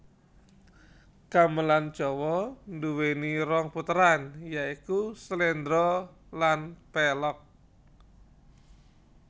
Gamelan Jawa duwéni rong puteran ya iku sléndra lan pélog